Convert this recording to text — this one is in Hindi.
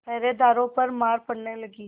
पहरेदारों पर मार पड़ने लगी